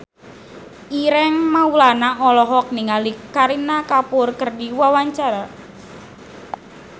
Ireng Maulana olohok ningali Kareena Kapoor keur diwawancara